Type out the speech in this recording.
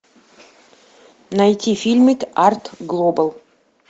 найти фильмик арт глобал